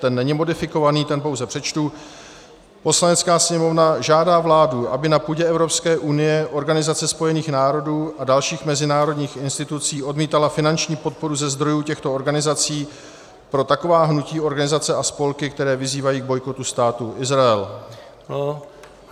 Ten není modifikovaný, ten pouze přečtu: "Poslanecká sněmovna žádá vládu, aby na půdě Evropské unie, Organizace spojených národů a dalších mezinárodních institucí odmítala finanční podporu ze zdrojů těchto organizací pro taková hnutí, organizace a spolky, které vyzývají k bojkotu Státu Izrael."